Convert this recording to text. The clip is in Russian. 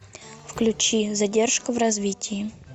включи задержка в развитии